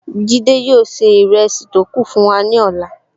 Jide yóò ṣe ìrẹsì tó kù fún wa ní ọ̀la